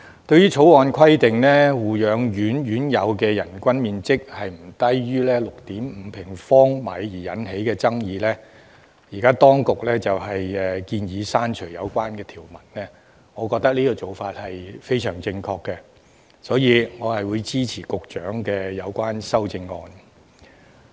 對於《條例草案》規定護養院院友的人均樓面面積不得少於 6.5 平方米而引起的爭議，當局現時建議刪除有關條文，我認為做法非常正確，所以我會支持局長的有關修正案。